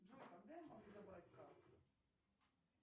джой когда я могу добавить карту